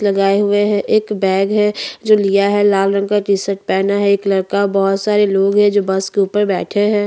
लगाए हुए है एक बैग है जो लिया है लाल रंग का टी शर्ट पहना है एक लड़का भोत सारे लोग है जो बस के ऊपर बैठे है।